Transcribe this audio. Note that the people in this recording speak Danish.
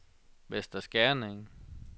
Vester Skerning